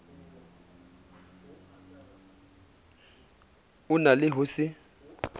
o na le ho se